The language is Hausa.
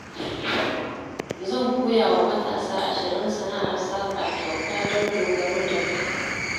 Zan koya wa matasa 20 sana'ar saƙa kyauta don dogaro da kai